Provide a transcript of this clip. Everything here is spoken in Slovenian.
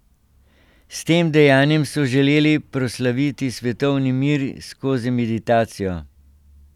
S tem dejanjem so želeli proslaviti svetovni mir skozi meditacijo.